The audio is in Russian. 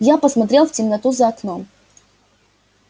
я посмотрел в темноту за окном